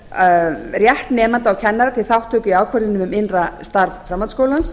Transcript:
þarf rétt nemenda og kennara til þátttöku í ákvörðunum um innra starf framhaldsskólans